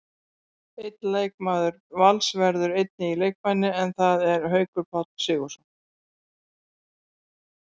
Einn leikmaður Vals verður einnig í leikbanni, en það er Haukur Páll Sigurðsson.